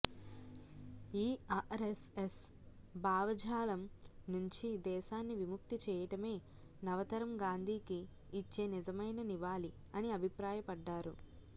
ఈ ఆర్ఎస్ఎస్ భావజాలం నుంచి దేశాన్ని విముక్తి చేయటమే నవతరం గాంధీకి ఇచ్చే నిజమైన నివాళి అని అభిప్రాయ పడ్డారు